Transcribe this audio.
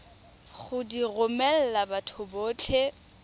go di romela batho botlhe